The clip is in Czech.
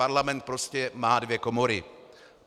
Parlament prostě má dvě komory.